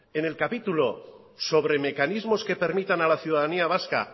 en el capítulo sobre mecanismos que permitan a la ciudadanía vasca